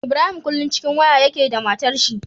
Ibrahim kullun cikin waya yake da matar shi